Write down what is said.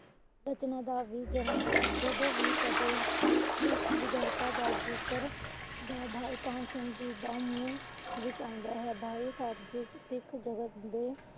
ਰਚਨਾ ਦਾ ਵੀ ਜਨਮ ਹੋਇਆ। ਜਦੋ ਵੀ ਕਦੇ ਸਿੱਖ ਦਾ ਜਿਕਰ ਹੋਵੇ ਤਾਂ, ਭਾਈ ਕਾਹਨ ਸਿੰਘ ਜੀ ਦਾ ਨਾਮ ਮੁੜ ਵਿੱਚ ਆਉਂਦਾ ਹੈ। ਭਾਈ ਸਾਹਬ ਜੀ ਸਿੱਖ ਜਗਤ ਦੇ